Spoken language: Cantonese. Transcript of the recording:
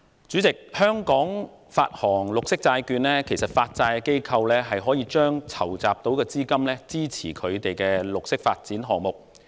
主席，就香港發行綠色債券方面，其實發債機構是可以把籌集所得資金用以發展綠色項目。